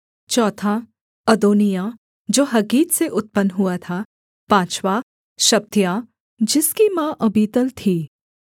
चौथा अदोनिय्याह जो हग्गीत से उत्पन्न हुआ था पाँचवाँ शपत्याह जिसकी माँ अबीतल थी